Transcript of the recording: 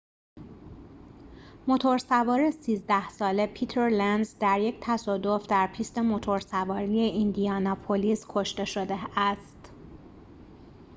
موتور سوار ۱۳ ساله پیتر لنز در یک تصادف در پیست موتورسواری ایندیاناپولیس کشته شده است